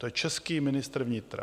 To je český ministr vnitra!